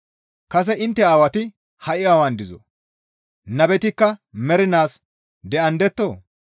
Kase intte aawati ha7i awan dizoo? Nabetikka mernaas de7andettoo?